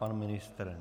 Pan ministr?